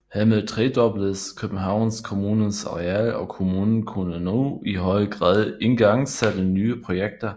Hermed tredobledes Københavns Kommunes areal og kommunen kunne nu i højere grad igangsætte nye projekter